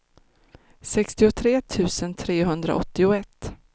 sextiotre tusen trehundraåttioett